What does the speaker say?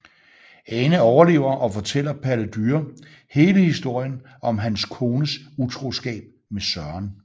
Ane overlever og fortæller Palle Dyre hele historien om hans kones utroskab med Søren